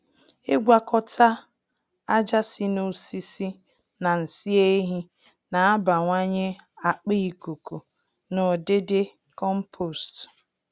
Ịgwakọta aja si n'osisi na nsị ehi n'abawanye akpa ikuku na udidi compost.